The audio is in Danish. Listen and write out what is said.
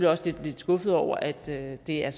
også lidt skuffet over at det er